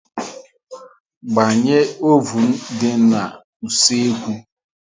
Gbanye ovun dị n'usekwu